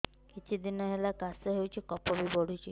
କିଛି ଦିନହେଲା କାଶ ହେଉଛି କଫ ବି ପଡୁଛି